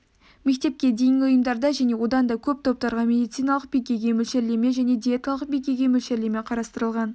мектепке дейінгі ұйымдарда және одан да көп топтарға медициналық бикеге мөлшерлеме және диеталық бикеге мөлшерлеме қарастырылған